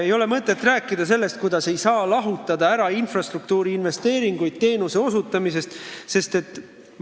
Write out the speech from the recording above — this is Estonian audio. Ei ole mõtet rääkida, et infrastruktuuri investeeringuid ei saa teenuse osutamise rahast lahutada.